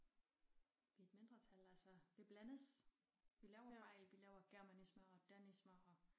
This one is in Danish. Vi et mindretal altså det blandes vi laver fejl vi laver germanismer og danismer og